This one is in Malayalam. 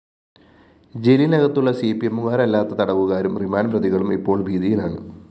ജയിലിനകത്തുള്ള സിപിഎമ്മുകാരല്ലാത്ത തടവുകാരും റിമാൻഡ്‌ പ്രതികളും ഇപ്പോള്‍ ഭീതിയിലാണ്